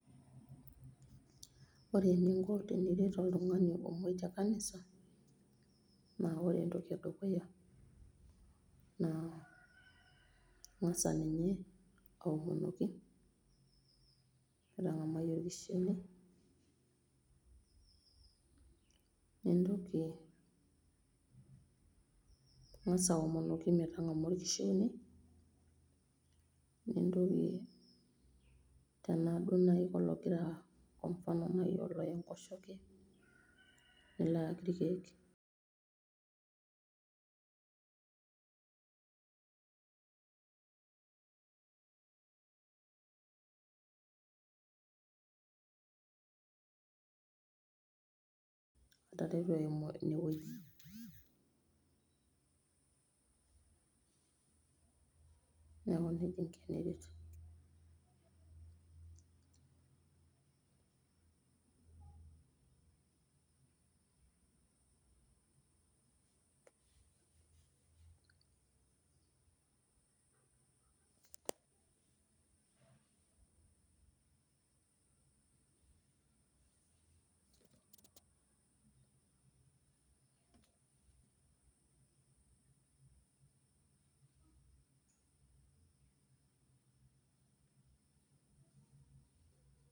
Ore eninko teniret oltungani omoi te nkanisa naa ore entoki edukuya naa ingasa ninye aomonoki metang'amai olkishili nintoki tanaaku duo ologira kwa mfano naii ooya inkosheke nilo aayeki irkeek, ataa eton emoii neaku neja inko teniret